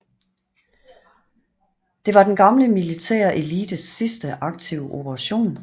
Det var den gamle militære elites sidste aktive operation